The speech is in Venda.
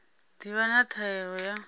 ḓi vha na ṱhahelelo ya